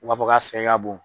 U b'a fɔ ka sɛgɛn ka bon.